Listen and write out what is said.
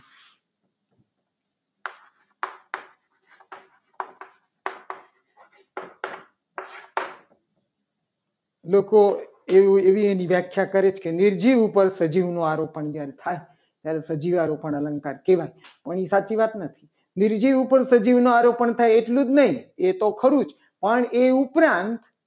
તો એની એવી એવી વ્યાખ્યા કરી છે. કે નિર્જીવ ઉપર સજીવનું આરોપણ જ્યારે થાય ત્યારે સજીવારોપણ અલંકાર કહેવાય. પણ એ સાચી વાત નથી. નિર્જીવ ઉપર સજીવનું આરોપણ થાય. એટલું જ નહીં. એ તો ખરું જ પણ એ ઉપરાંત